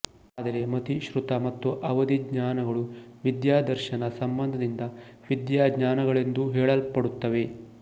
ಆದರೆ ಮತಿ ಶ್ರುತ ಮತ್ತು ಅವಧಿಜ್ಞಾನಗಳು ವಿಥ್ಯಾದರ್ಶನ ಸಂಬಂಧದಿಂದ ವಿಥ್ಯಾಜ್ಞಾನಗಳೆಂದೂ ಹೇಳಲ್ಪಡುತ್ತವೆ